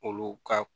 Olu ka